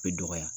Bɛ dɔgɔya